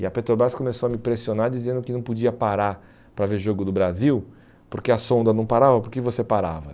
E a Petrobras começou a me pressionar dizendo que não podia parar para ver o jogo do Brasil, porque a sonda não parava, porque você parava.